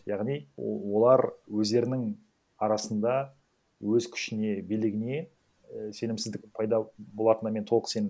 яғни олар өздерінің арасында өз күшіне билігіне і сенімсіздік пайда болатынына мен толық сенемін